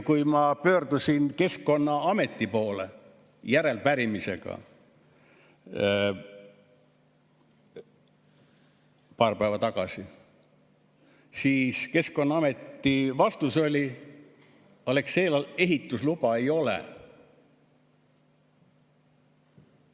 Kui ma pöördusin Keskkonnaameti poole paar päeva tagasi järelepärimisega, siis Keskkonnaameti vastus oli, et Alexelal ehitusluba ei ole.